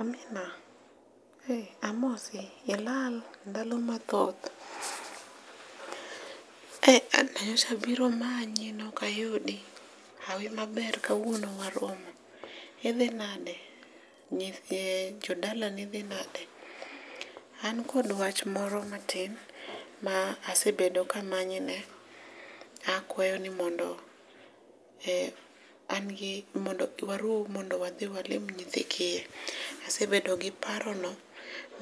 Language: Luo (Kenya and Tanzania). Amina e amosi? ilal ndalo mathoth? nyocha biro manyi noka yudo hawi maber kawuono waromo, idhi nade? nyithi jodalani dhi nade ? An kod wach moro matin ma asebedo kamanyi ne akwayo ni mondo e an gi mondo warom mondo wadhi walim nyithi kiye. Asebedo gi paro no